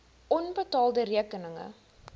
onbetaalde rekeninge